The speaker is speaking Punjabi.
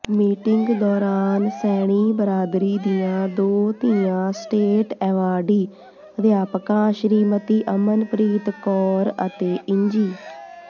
ਮੀਟਿੰਗ ਦੌਰਾਨ ਸੈਣੀ ਬਰਾਦਰੀ ਦੀਆਂ ਦੋ ਧੀਆਂ ਸਟੇਟ ਐਵਾਰਡੀ ਅਧਿਆਪਕਾਂ ਸ਼੍ਰੀਮਤੀ ਅਮਨਪ੍ਰਰੀਤ ਕੌਰ ਅਤੇ ਇੰਜੀ